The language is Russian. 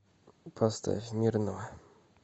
поставь мирного